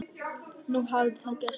Nú hafði það gerst.